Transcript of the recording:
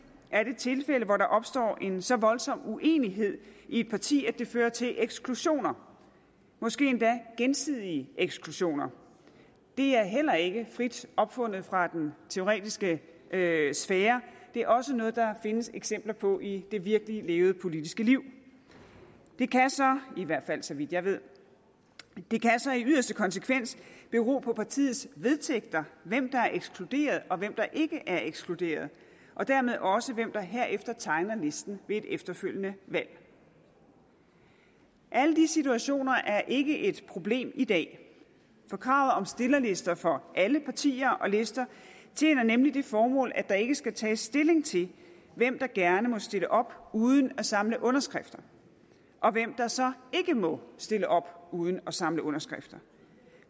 er det tilfælde hvor der opstår en så voldsom uenighed i et parti at det fører til eksklusioner måske endda gensidige eksklusioner det er heller ikke frit opfundet fra den teoretiske sfære det er også noget der findes eksempler på i det virkeligt levede politiske liv det kan så i hvert fald så vidt jeg ved i yderste konsekvens bero på partiets vedtægter hvem der er ekskluderet og hvem der ikke er ekskluderet og dermed også hvem der herefter tegner listen ved et efterfølgende valg alle de situationer er ikke et problem i dag for kravet om stillerlister for alle partier og lister tjener nemlig det formål at der ikke skal tages stilling til hvem der gerne må stille op uden at samle underskrifter og hvem der så ikke må stille op uden at samle underskrifter